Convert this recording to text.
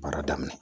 Baara daminɛ